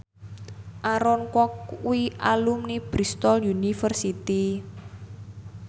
Aaron Kwok kuwi alumni Bristol university